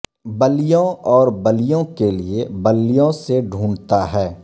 بلیوں اور بلیوں کے لئے بلیوں سے ڈھونڈتا ہے